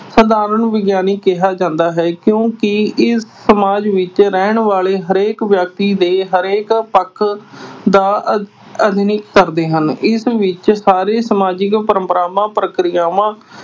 ਵਿਗਿਆਨ ਕਿਹਾ ਜਾਂਦਾ ਹੈ ਕਿਉਂ ਕਿ ਇਸ ਸਮਾਜ ਵਿੱਚ ਰਹਿਣ ਵਾਲੇ ਹਰੇਕ ਵਿਅਕਤੀ ਦੇ, ਹਰੇਕ ਪੱਖ ਦਾ ਅਧਿ ਅਹ ਅਧਿਐਨ ਕਰਦੇ ਹਨ। ਇਸ ਵਿੱਚ ਸਾਰੀਆਂ ਸਮਾਜਿਕ ਪਰੰਪਰਾਵਾਂ, ਪ੍ਰਕਿਰਿਆਵਾਂ।